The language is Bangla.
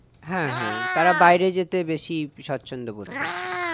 হ্যাঁ হ্যাঁ তারা বাইরে যেতে বেশি স্বচ্ছন্দ বোধ করছে